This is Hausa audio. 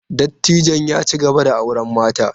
Dattijon ya ci gaba da auren mata.